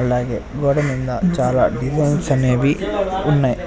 అలాగే గోడ మింద చాలా డిజైన్స్ అనేవి ఉన్నాయ్